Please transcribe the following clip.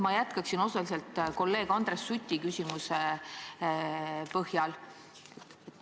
Ma jätkaksin osaliselt kolleeg Andres Suti küsimuse põhjal.